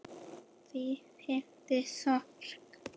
Því fylgi sorg.